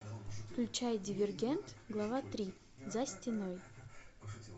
включай дивергент глава три за стеной